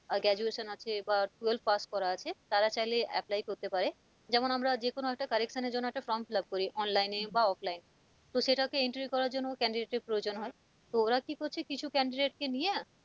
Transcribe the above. আহ graduation আছে বা twelve pass করা আছে তারা চাইলে apply করতে পারে যেমন আমরা যেকোন একটা correction এর জন্য একটা form fill up করি online বা offline এ তো সেটাও তো entry করার জন্য candidate এর প্রয়োজন হয় তো ওরা ক করছে? কিছু candidate কে নিয়ে